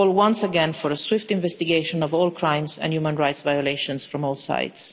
We call once again for a swift investigation of all crimes and human rights violations from all sides.